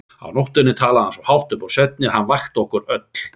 Á nóttunni talaði hann svo hátt upp úr svefni að hann vakti okkur öll.